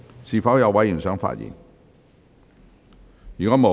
是否有委員想發言？